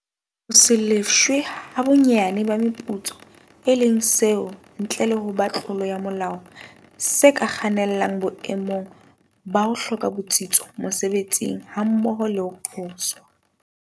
Ho se lefshwe ha bonyane ba meputso, e leng seo ntle le ho ba tlolo ya molao, se ka kgannelang boemong ba ho hloka botsitso mosebetsing hammoho le ho qoswa.